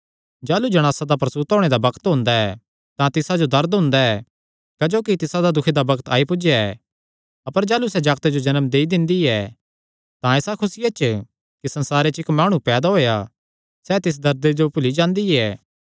जाह़लू जणासा दा प्रसूता होणे दा बग्त ओंदा ऐ तां तिसा जो दर्द हुंदा ऐ क्जोकि तिसादा दुखे दा बग्त आई पुज्जया ऐ अपर जाह़लू सैह़ जागते जो जन्म देई दिंदी ऐ तां इसा खुसिया च कि संसारे च इक्क माणु पैदा होएया सैह़ तिस दर्दे जो भुल्ली जांदी ऐ